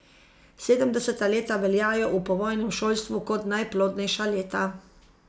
Sedemdeseta leta veljajo v povojnem šolstvu kot najplodnejša leta.